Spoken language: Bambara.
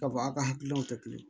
K'a fɔ aw ka hakilinaw tɛ kelen ye